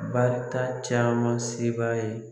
Barika caman se b'a ye.